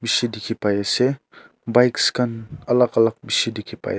bishi dikhi pai ase bikes khan alak alak bishi dikhi pai as--